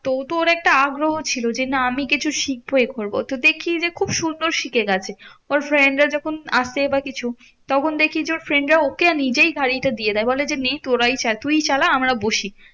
তো তো ওর একটা আগ্রহ ছিল যে না আমি কিছু শিখবো এ করবো তো দেখি যে খুব সুন্দর শিখে গেছে। ওর friend রা যখন আসে বা কিছু তখন দেখি যে ওর friend রা ওকে নিজেই গাড়িটা দিয়ে দেয় বলে যে, না তোরাই চা তুই চালা আমরা বসি।